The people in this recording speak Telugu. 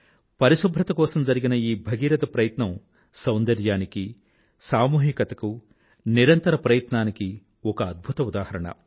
పరిశుభ్రత కోసం జరిగిన ఈ భగీరథ ప్రయత్నం సౌందర్యానికీ సామూహికతకూ నిరంతరతకీ ఒక అద్భుత ఉదాహరణ